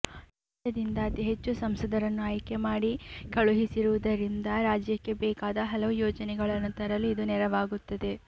ರಾಜ್ಯದಿಂದ ಅತಿ ಹೆಚ್ಚು ಸಂಸದರನ್ನು ಆಯ್ಕೆ ಮಾಡಿ ಕಳುಹಿಸಿರುವುದರಿಂದ ರಾಜ್ಯಕ್ಕೆ ಬೇಕಾದ ಹಲವು ಯೋಜನೆಗಳನ್ನು ತರಲು ಇದು ನೆರವಾಗುತ್ತದೆ